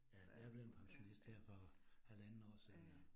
Ja, jeg blevet pensionist her for halvandet år siden